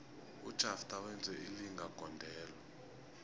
ujafter wenze ilinga gondelo